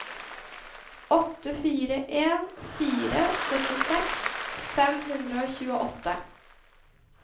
åtte fire en fire syttiseks fem hundre og tjueåtte